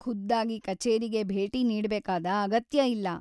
ಖುದ್ದಾಗಿ ಕಛೇರಿಗೆ ಭೇಟಿ ನೀಡ್ಬೇಕಾದ ಅಗತ್ಯ ಇಲ್ಲ.